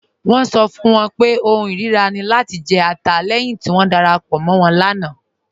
Wọn sọ fún wọn pé ọ̀hùn irira ni lati jẹ̀ ẹ̀tà lẹ́hin ti wọn darapọ̀ mọ̀ wọn láńà.